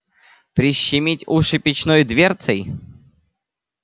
прищемить уши печной дверцей